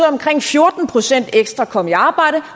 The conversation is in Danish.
omkring fjorten procent ekstra kom i arbejde